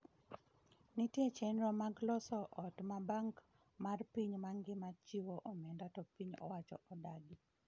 Nitie chenro mag loso ot ma Bank mar piny mangima chiwo omenda to piny owacho nodagi.